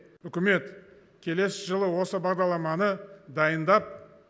үкімет келесі жылы осы бағдарламаны дайындап